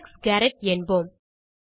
Alex Garrett என்போம்